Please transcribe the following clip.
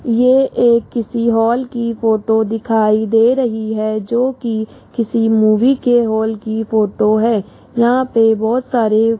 ये एक किसी हॉल की फोटो दिखाई दे रही है जोकि किसी मूवी के हॉल की फोटो है यहां पे बहोत सारे --